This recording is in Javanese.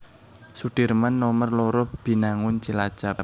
Sudirman Nomer loro Binangun Cilacap